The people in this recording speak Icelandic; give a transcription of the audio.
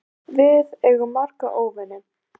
Við eigum marga óvini.